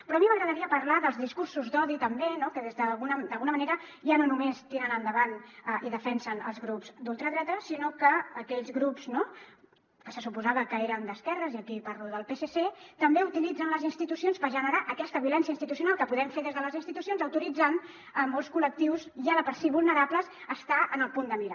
però a mi m’agradaria parlar dels discursos d’odi també no que d’alguna manera ja no només tiren endavant i defensen els grups d’ultradreta sinó que aquells grups que se suposava que eren d’esquerres i aquí parlo del psc també utilitzen les institucions per generar aquesta violència institucional que podem fer des de les institucions autoritzant molts col·lectius ja de per si vulnerables a estar en el punt de mira